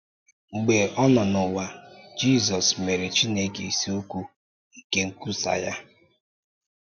Mgbe ọ nọ n’ụwa, Jizọs mere Chineke isiokwu nke nkwusa ya.